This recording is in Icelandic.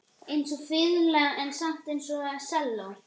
Einsog fiðla en samt einsog selló.